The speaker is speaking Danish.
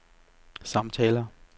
samtaler